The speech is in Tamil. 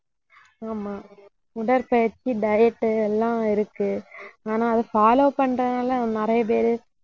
ஆமாம் உடற்பயிற்சி diet எல்லாம் இருக்கு ஆனா அதை follow பண்றதுனால நிறைய பேரு